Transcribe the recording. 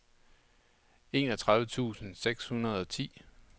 enogtredive tusind seks hundrede og ti